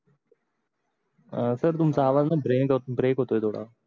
sir तुमच आवाज न break होतोय थोड